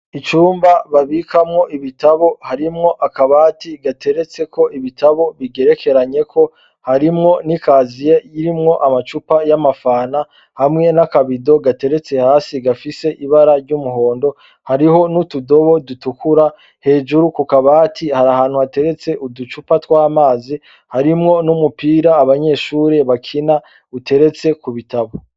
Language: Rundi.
Icumba babikamwo ibitabo harimwo akabati gateretseko ibitabo bigerekeranye, harimwo nikaziye irimwo amacupa y’amafanta hamwe naka bido gateretse hasi gafise ibara ry’umuhondo, hariho n’utudobo dutukura, hejuru kukabati harih’ahantu hateretse uducupa tw’amazi, harimwo n’umupira abanyeshure bakina, uteretse kubitabo.